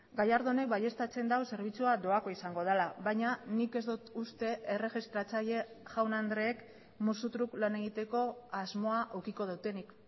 gallardónek baieztatzen du zerbitzua doakoa izango dela baina nik ez dut uste erregistratzaile jaun andreek musu truk lan egiteko asmoa edukiko dutenik